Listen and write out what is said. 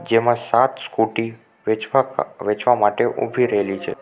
જેમાં સાત સ્કુટી વેચવા વેચવા માટે ઊભી રહેલી છે.